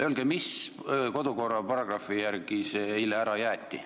Öelge, millise kodukorra paragrahvi järgi see eile ära jäeti.